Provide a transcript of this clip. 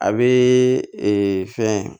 A bɛ fɛn